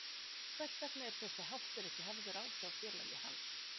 Hvers vegna er þessi háttur ekki hafður á hjá félagi hans?